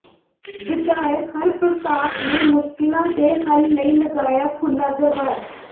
ਵਿਧਾਇਕ ਹਰਪ੍ਰਤਾਪ ਨੇ ਮੁਸ਼ਕਿਲਾਂ ਦੇ ਹੱਲ ਲਈ ਲਗਾਇਆ ਖੁੱਲ੍ਹਾ ਦਰਬਾਰ